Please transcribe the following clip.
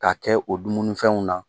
K 'a kɛ o dumuni fɛnw na.